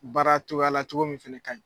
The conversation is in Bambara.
Baara togoya la cogo min fɛnɛ ka ɲi.